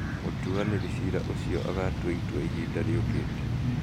Mũtuanĩri ciira ũcio agaatua itua ihinda rĩũkĩte.